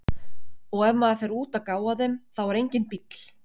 Og ef maður fer út að gá að þeim, þá er enginn bíll.